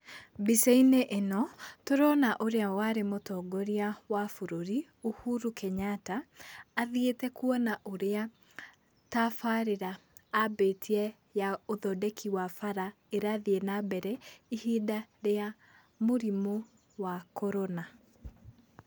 Mbica-inĩ ĩno, tũrona ũrĩa warĩ mũtongoria wa bũrũri, Uhuru Kenyatta athiĩte kũona ũrĩa tabarĩra ambĩtie ya ũthondeki wa bara ĩrathiĩ na mbere ihinda rĩa mũrimũ wa korona.